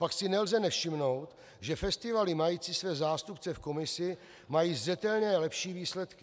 Pak si nelze nevšimnout, že festivaly mající své zástupce v komisi mají zřetelně lepší výsledky.